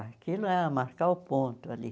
Aquilo é marcar o ponto ali.